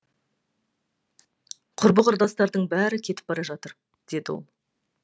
құрбы құрдастардың бәрі кетіп бара жатыр деді ол